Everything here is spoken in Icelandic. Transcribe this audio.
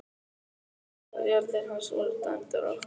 Þú veist að jarðir hans voru dæmdar okkur!